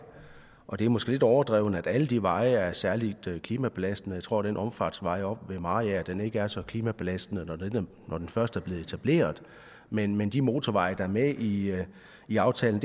og det er måske lidt overdrevet at alle de veje er særligt klimabelastende jeg tror den omfartsvej oppe ved mariager er så klimabelastende når den først er blevet etableret men men de motorveje der er med i i aftalen